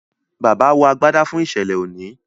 bàbá wọ àgbàdá fún iṣẹlẹ òní.